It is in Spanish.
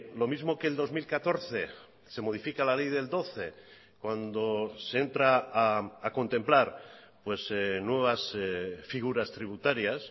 lo mismo que el dos mil catorce se modifica la ley del doce cuando se entra a contemplar nuevas figuras tributarias